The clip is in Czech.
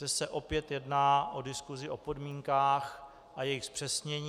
Zde se opět jedná o diskusi o podmínkách a jejich zpřesnění.